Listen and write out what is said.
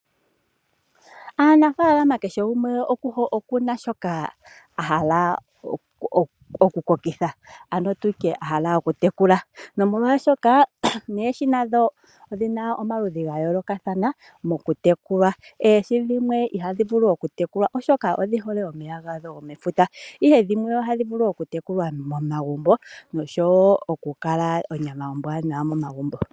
Aanafaalama kehe gumwe okuna shoka ahala oku kokitha ano tutye ahala oku tekula nomolwaashoka noohi madho odhina omaludhi ga yoolokathana moku tekula. Oohi dhimwe ihadhi vulu oku tekulwa oshoka odhihole omeya dhago gomefuta ,ihe dhimwe ohadhi vulu oku telekwa momagumbo noshowo oku kala onyama ombwanawa momagumbo.